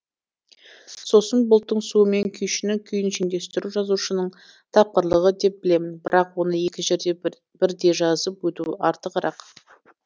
сосын бұлттың суы мен күйшінің күйін шендестіру жазушының тапқырлығы деп білемін бірақ оны екі жерде бірдей жазып өту артығырақ